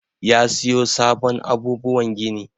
Yi siyo sabon abubuwan gini.